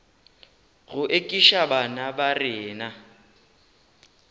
go ekiša bana ba rena